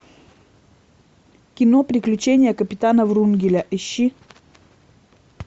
кино приключения капитана врунгеля ищи